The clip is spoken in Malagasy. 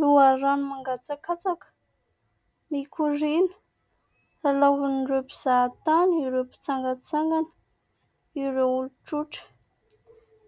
Loharano mangatsakatsaka mikoriana lalaovin'ireo mpizaha tany, ireo mpitsangatsangana, ireo olon-trotra